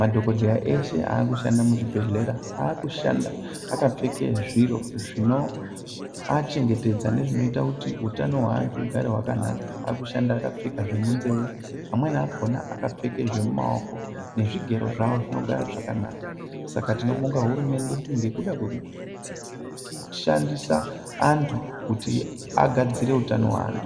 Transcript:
Madhokodheya ashe aakushanda muzvibhedhlera aakushanda akapfeka zviro zvinoachengetedza nezvinoita kuti hutano hweantu ugare wakanaka, akushanda akapfeka zvemunzeye amweni akona akapfeka zvemumaoko, zvigero zvawo zvinogara zvakanaka. Saka tinobonga hurumende ngekuda kwekushandisa antu kuti angadzire utano hweantu.